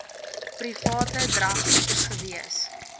private drag gewees